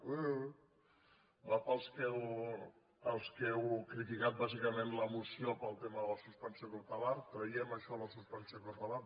eu va pels que heu criticat bàsicament la moció pel tema de la suspensió cautelar traiem això de la suspensió cautelar